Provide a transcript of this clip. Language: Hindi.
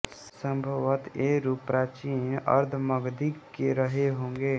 संभवत ये रूप प्राचीन अर्धमागधी के रहे होंगे